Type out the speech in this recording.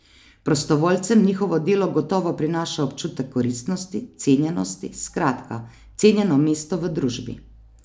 Prostovoljcem njihovo delo gotovo prinaša občutek koristnosti, cenjenosti, skratka, cenjeno mesto v družbi.